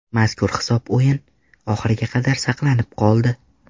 Mazkur hisob o‘yin oxiriga qadar saqlanib qoldi.